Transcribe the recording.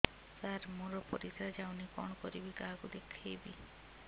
ସାର ମୋର ପରିସ୍ରା ଯାଉନି କଣ କରିବି କାହାକୁ ଦେଖେଇବି